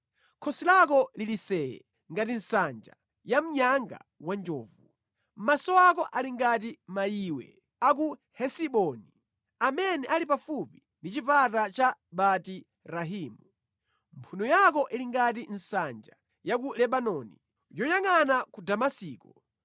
Khosi lako lili see! ngati nsanja ya mnyanga wa njovu. Maso ako ali ngati mayiwe a ku Hesiboni, amene ali pafupi ndi chipata cha Bati Rabimu. Mphuno yako ili ngati nsanja ya ku Lebanoni, yoyangʼana ku Damasiko.